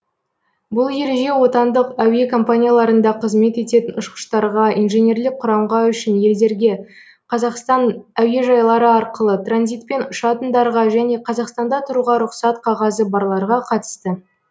бұл ереже отандық әуе компанияларында қызмет ететін ұшқыштарға инженерлік құрамға үшінші елдерге қазақстан әуежайлары арқылы транзитпен ұшатындарға және қазақстанда тұруға рұқсат қағазы барларға қатысты